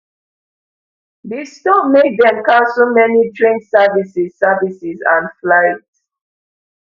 di storm make dem cancel many train services services and flights